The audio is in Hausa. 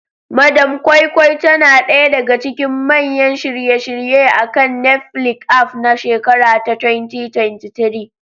Madam Koi Koi tana ɗaya daga cikin manyan shirye-shiryen akan Netflix aff na shekara ta 2023.